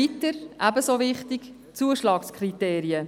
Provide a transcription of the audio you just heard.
Ebenso wichtig sind die Zuschlagskriterien.